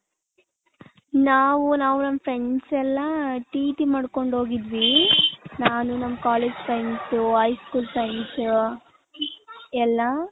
ನಾವು ನಾವು ನಮ್ಮ friends ಎಲ್ಲಾ TT ಮಾಡ್ಕೊಂಡ್ ಹೋಗಿದ್ವಿ ನಾನು ನಮ್ಮ college friends high school friends ಎಲ್ಲಾ .